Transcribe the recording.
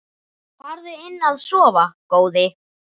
Farðu inn að sofa góði.